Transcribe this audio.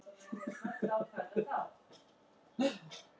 Veig, hefur þú prófað nýja leikinn?